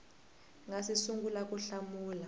nga si sungula ku hlamula